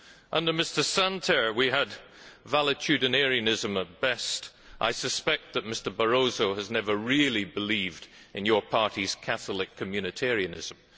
Under Mr Santer we had valetudinarianism at best. I suspect that Mr Barroso has never really believed in your party's Catholic Communitarianism.